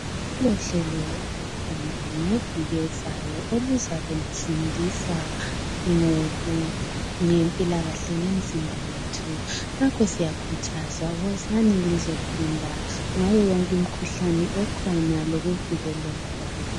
Kulohlelo olukhona ngeviki ezayo elizabe lifundisa ngempilakahle yemzimba yethu. Ngakho siyakhuthazwa wozani lizofunda ngayo yonke imkhuhlane ekhona lokuvikekeka kwayo.